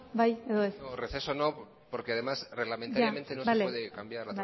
bai edo ez no porque además reglamentariamente no se puede cambiar